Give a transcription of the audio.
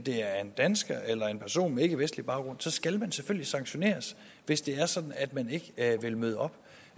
er dansker eller en person med ikkevestlig baggrund skal man selvfølgelig sanktioneres hvis det er sådan at man ikke vil møde op